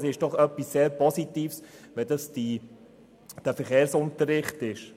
Es ist doch etwas sehr Positives, wenn dies der Verkehrsunterricht ist.